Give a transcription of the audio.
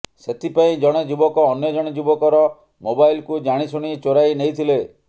ସେଥିପାଇଁ ଜଣେ ଯୁବକ ଅନ୍ୟ ଜଣେ ଯୁବକର ମୋବାଇଲ୍କୁ ଜାଣିଶୁଣି ଚୋରାଇ ନେଇଥିଲେ